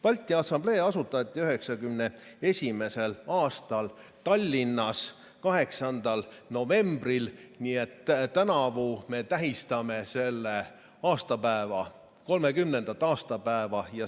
Balti Assamblee asutati 1991. aastal Tallinnas, 8. novembril, nii et tänavu me tähistame selle 30. aastapäeva.